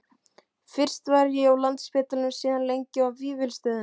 Fyrst var ég á Landspítalanum og síðan lengi á Vífilsstöðum.